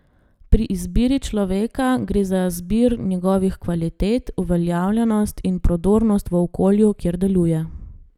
Pri izbiri človeka gre za zbir njegovih kvalitet, uveljavljenost in prodornost v okolju, kjer deluje.